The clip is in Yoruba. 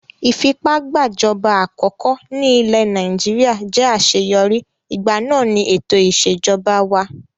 Ìfipágbàjọba àkọkọ́ ní ilẹ̀ Nàìjíríà jẹ́ àṣeyọrí, ìgbà náà ni ètò ìṣèjọba wà.